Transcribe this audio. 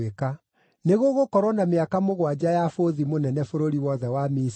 Nĩgũgũkorwo na mĩaka mũgwanja ya bũthi mũnene bũrũri wothe wa Misiri,